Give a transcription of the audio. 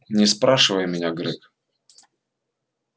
не спрашивай меня грег